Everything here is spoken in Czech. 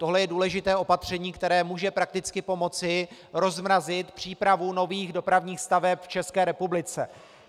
Tohle je důležité opatření, které může prakticky pomoci rozmrazit přípravu nových dopravních staveb v České republice.